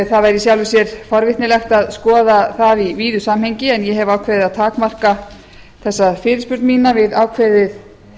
það væri í sjálfu sér forvitnilegt að skoða það í víðu samhengi en ég hef ákveðið að takmarka þessa fyrirspurn mína við ákveðið